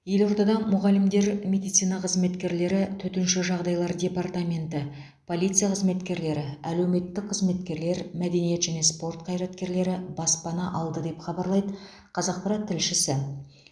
елордада мұғалімдер медицина қызметкерлері төтенше жағдаилар департаменті полиция қызметкерлері әлеуметтік қызметкерлер мәдениет және спорт қаираткерлері баспана алды деп хабарлайды қазақпарат тілшісі